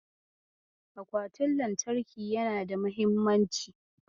Akwatin lantarki yana da mahimmanci.